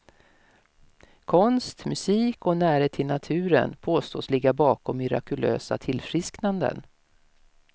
Konst, musik och närhet till naturen påstås ligga bakom mirakulösa tillfrisknanden.